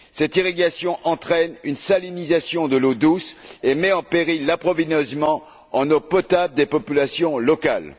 Cette irrigation entraîne une salinisation de l'eau douce et met en péril l'approvisionnement en eau potable des populations locales.